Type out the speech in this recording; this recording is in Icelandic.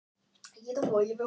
Og hvað fannst þér sjálfum?